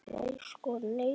Nei sko nei.